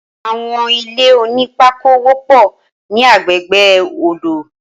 Awọn ilé ónìpàkó wọpọ ni àgbégbé ódó